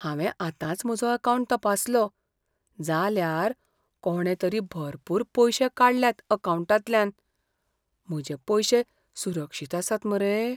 हांवें आतांच म्हजो अकावंट तपासलो, जाल्यार कोणे तरी भरपूर पयशे काडल्यात अकावंटांतल्यान. म्हजे पयशे सुरक्षीत आसात मरे?